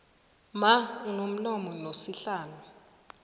mma unomlomo nosihlalo